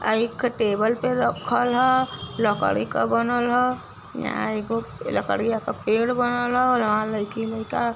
आ एक खे टेबल पे रखल ह। लकड़ी का बनल ह। यहाँ एगो लकड़िया का पेड़ बनल ह। अउर यहाँ लईकी-लाईका --